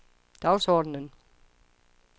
dagsordenen